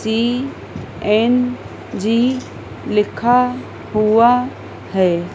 सी N G लिखा हुआ है।